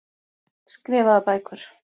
Skrifaðar bækur.